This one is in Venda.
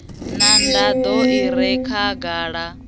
na nḓaḓo i re khagala